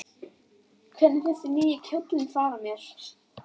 Hvernig finnst þér nýi kjóllinn fara mér?